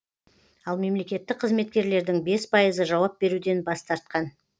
ал мемлекеттік қызметкерлердің бес пайызы жауап беруден бас тартқан